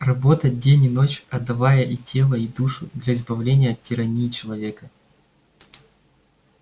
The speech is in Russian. работать день и ночь отдавая и тело и душу для избавления от тирании человека